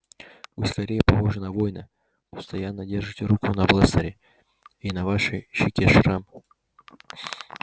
вы скорее похожи на воина постоянно держите руку на бластере и на вашей щеке шрам